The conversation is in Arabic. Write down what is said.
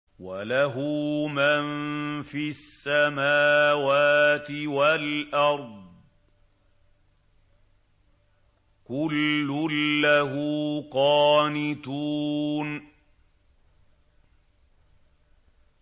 وَلَهُ مَن فِي السَّمَاوَاتِ وَالْأَرْضِ ۖ كُلٌّ لَّهُ قَانِتُونَ